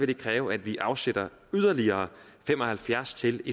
det kræve at vi afsætter yderligere fem og halvfjerds til